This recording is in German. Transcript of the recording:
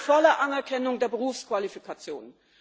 Wir wollen die volle Anerkennung der Berufsqualifikationen.